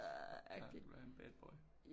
Du vil have en bad boy